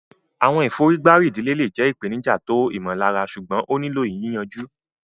Àwọn ìfọ̀rígbárí ìdílé le jẹ́ ìpèníjà tó ìmọ̀lára ṣùgbọ́n ó nílò yìyànju.